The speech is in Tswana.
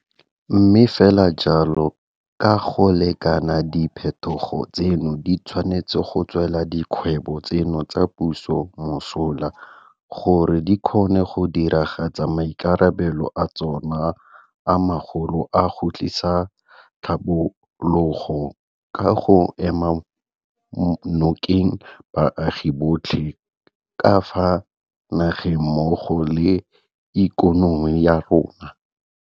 Mme fela jalo ka go lekana diphetogo tseno di tshwanetse go tswela dikgwebo tseno tsa puso mosola gore di kgone go diragatsa maikarabelo a tsona a magolo a go tlisa tlhabologo ka go ema nokeng baagi botlhe ka fa nageng mmogo le ikonomi ya rona.